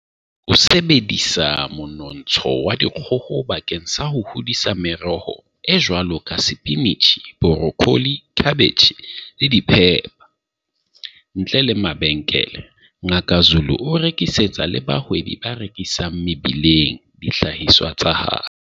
O sebedisa monontsha wa dikgoho bakeng sa ho hodisa meroho e jwalo ka sepinitjhi, borokholi, khabetjhe, le diphepha. Ntle le mabenkele, Ngaka Zulu o rekisetsa le bahwebi ba rekisang mebileng dihlahiswa tsa hae.